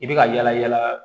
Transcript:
I bɛ ka yala yala